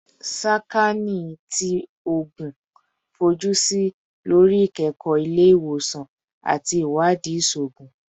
Sakaani ti Oogun fojusi lori ikẹkọ ile-iwosan ati iwadii iṣoogun